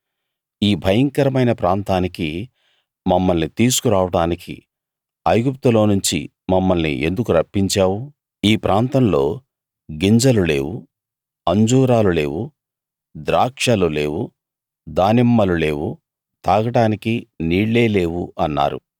ఈ భయంకరమైన ప్రాంతానికి మమ్మల్ని తీసుకు రావడానికి ఐగుప్తులోనుంచి మమ్మల్ని ఎందుకు రప్పించావు ఈ ప్రాంతంలో గింజలు లేవు అంజూరాలు లేవు ద్రాక్షలు లేవు దానిమ్మలు లేవు తాగడానికి నీళ్ళే లేవు అన్నారు